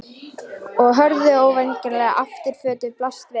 Og hröð og ógnvekjandi afturförin blasti við.